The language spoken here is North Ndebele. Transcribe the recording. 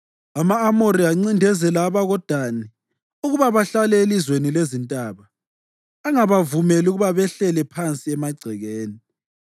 Ama-Amori ancindezela abakoDani ukuba bahlale elizweni lezintaba, angabavumeli ukuba behlele phansi emagcekeni.